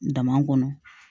Dama kɔnɔ